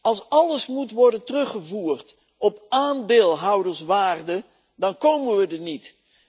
Als alles moet worden teruggevoerd op aandeelhouderswaarde dan komen we er niet.